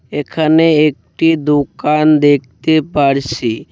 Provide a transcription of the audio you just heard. এখানে একটি দোকান দেকতে পারছি।